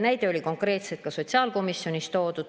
Näide oli konkreetselt ka sotsiaalkomisjonis toodud.